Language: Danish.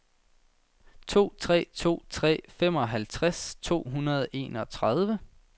to tre to tre femoghalvtreds to hundrede og enogtredive